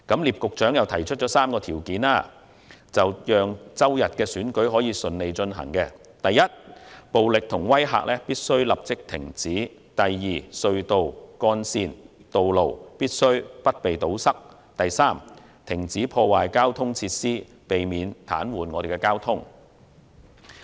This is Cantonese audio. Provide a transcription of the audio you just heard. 聶局長又提出了3項條件，讓周日的選舉順利舉行。第一，暴力和威嚇必須立即停止；第二，隧道、幹線和道路必須不被堵塞；第三，停止破壞交通設施，避免癱瘓交通。